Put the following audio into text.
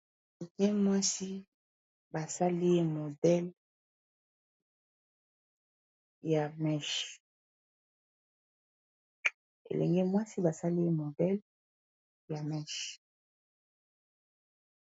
Elenge mwasi basali ye modele ya meche.